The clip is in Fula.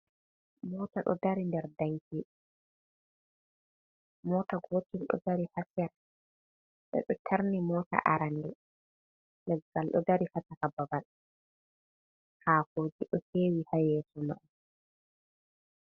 Mota do dari nder danki, mota gotel do dari sera be do tarni mota arande, leggal do dari ha chaka babal ha kojedo hewi ha yeso mai.